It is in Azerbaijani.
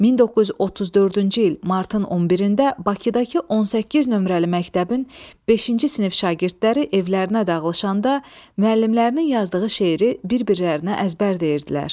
1934-cü il martın 1-də Bakıdakı 18 nömrəli məktəbin beşinci sinif şagirdləri evlərinə dağılışanda müəllimlərinin yazdığı şeiri bir-birlərinə əzbər deyirdilər.